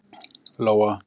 Lóa